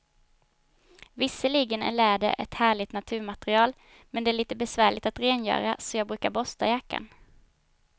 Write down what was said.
Visserligen är läder ett härligt naturmaterial, men det är lite besvärligt att rengöra, så jag brukar borsta jackan.